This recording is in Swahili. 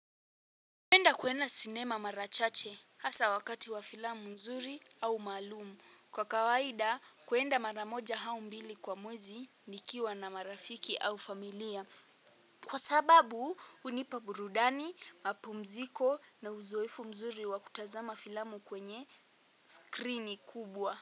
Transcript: Napenda kuenda sinema mara chache hasa wakati wa filamu nzuri au maalumu. Kwa kawaida kuenda mara moja au mbili kwa mwezi nikiwa na marafiki au familia. Kwa sababu hunipa burudani, mapumziko na uzoefu mzuri wa kutazama filamu kwenye skrini kubwa.